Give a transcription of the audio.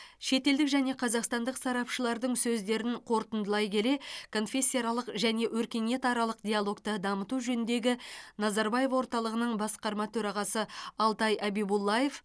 шетелдік және қазақстандық сарапшылардың сөздерін қорытындылай келе конфессияаралық және өркениетаралық диалогты дамыту жөніндегі назарбаев орталығының басқарма төрағасы алтай әбибуллаев